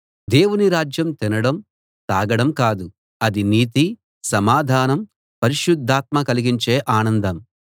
దేవుని రాజ్యం తినడం తాగడం కాదు అది నీతి సమాధానం పరిశుద్ధాత్మ కలిగించే ఆనందం